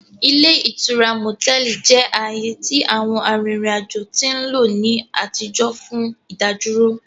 Ile itura motẹlì jẹ aaye ti àwọn arìrìn ajo ti nlo ni àtijọ́ fun ìdádúró.